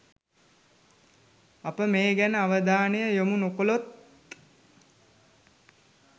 අප මේ ගැන අවධානය යොමු නොකොළොත්